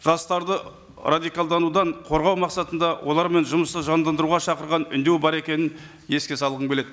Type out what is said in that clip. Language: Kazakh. жастарды радикалданудан қорғау мақсатында олармен жұмысты жандандыруға шақырған үндеу бар екенін еске салғым келеді